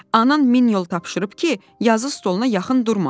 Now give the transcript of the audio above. Anan min yol tapşırıb ki, yazı stoluna yaxın durma.